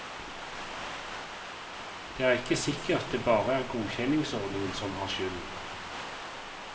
Det er ikke sikkert det bare er godkjenningsordningen som har skylden.